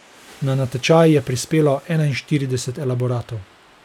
Na natečaj je prispelo enainštirideset elaboratov.